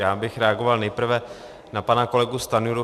Já bych reagoval nejprve na pana kolegu Stanjuru.